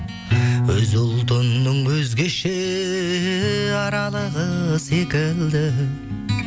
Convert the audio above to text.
өз ұлтыңның өзгеше аралығы секілді